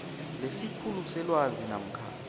lesikhulu selwazi namkha